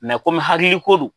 kɔmi hakili ko don.